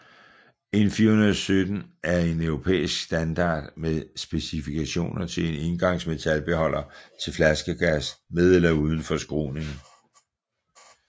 EN 417 er en Europæisk standard med specifikationer til en engangsmetalbeholder til flaskegas med eller uden forskruning